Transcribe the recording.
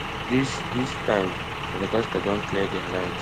dis dis time madagascar don clear dia lines